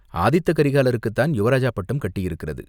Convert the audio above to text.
"ஆதித்த கரிகாலருக்குத்தான் யுவராஜா பட்டம் கட்டியிருக்கிறது.